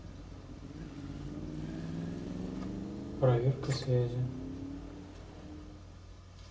проверка связи